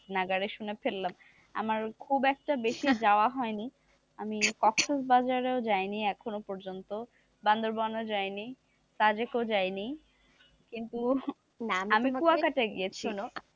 নাগাড়েশুনে ফেললাম আমার খুব একটা বেশি যাওয়া হয়নি, আমি কক্সবাজার ও যায়নি এখনো পর্যন্ত, বান্দরবনও যায়নি যায়নি, কিন্তু আমি কুয়াকাটায গিয়েছি,